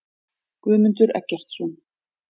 Guðmundur Eggertsson.